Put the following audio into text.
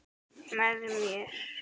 Með mér.